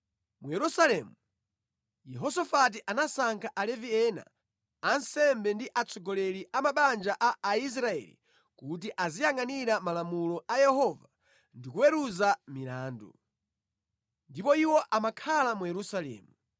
Mu Yerusalemu, Yehosafati anasankha Alevi ena, ansembe ndi atsogoleri a mabanja a Aisraeli kuti aziyangʼanira Malamulo a Yehova ndi kuweruza milandu. Ndipo iwo amakhala mu Yerusalemu.